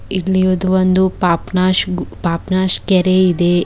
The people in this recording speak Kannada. ಇಲ್ಲಿ ಇರೋದು ಒಂದು ಪಾಪ್ ನಾಗು- ಪಾಪ್ನಾಶ್ ಕೆರೆ ಇದೆ. ಇದು ಒನ್ --